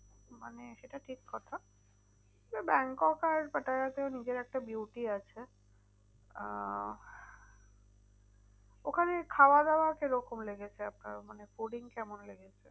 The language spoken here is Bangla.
মানে সেটা ঠিক কথা। এবার ব্যাংকক আর পাটায়াতে ওর নিজের একটা beauty আছে আহ ওখানে খাওয়া দাওয়া কি রকম লেগেছে আপনার? মানে fooding কেমন লেগেছে?